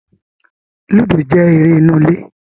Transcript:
Lúdò jẹ́ eré inú ilé